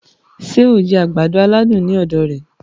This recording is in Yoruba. Ṣé o jẹ agbado-aladun ní ọ̀dọ̀ rẹ̀